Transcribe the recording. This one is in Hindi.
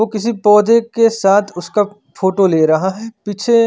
वो किसी पोधे के साथ उसका फोटो ले रहा है पीछे--